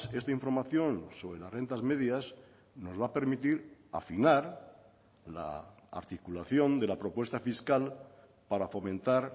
esta información sobre las rentas medias nos va a permitir afinar la articulación de la propuesta fiscal para fomentar